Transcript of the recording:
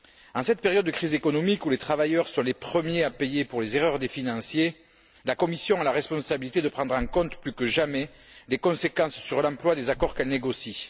En cette période de crise économique où les travailleurs sont les premiers à payer pour les erreurs des financiers, la Commission a la responsabilité de prendre en compte, plus que jamais, les conséquences sur l'emploi des accords qu'elle négocie.